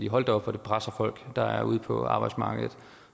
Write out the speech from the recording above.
hold da op hvor det presser folk der er ude på arbejdsmarkedet